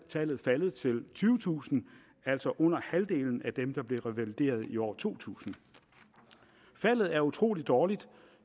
tallet faldet til tyvetusind altså under halvdelen af dem der blev revalideret i år to tusind faldet er utrolig dårligt